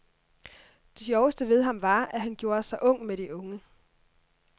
Det sjoveste ved ham var, at han gjorde sig ung med de unge.